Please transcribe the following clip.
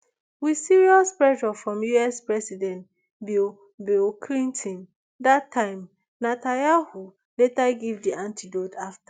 wit serious pressure from us president bill bill clinton dat time netanyahu later give di antidote afta